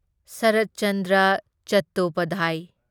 ꯁꯔꯠ Chandra Chattopadhyay